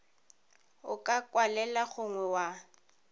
o ka kwalela gongwe wa